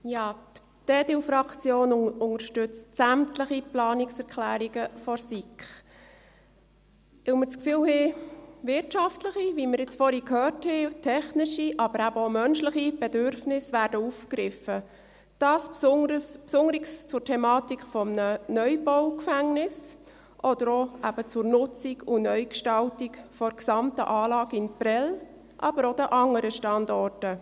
Die EDU-Faktion unterstützt sämtliche Planungserklärungen der SiK, weil wir das Gefühl haben, wirtschaftliche – wie wir jetzt vorhin gehört haben –, technische, aber eben auch menschliche Bedürfnisse werden aufgegriffen, dies besonders zur Thematik eines Gefängnisneubaus oder eben auch zur Nutzung und Neugestaltung der gesamten Anlage in Prêles, aber auch von anderen Standorten.